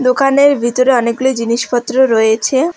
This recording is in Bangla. দোকানের ভিতরে অনেকগুলি জিনিসপত্র রয়েছে।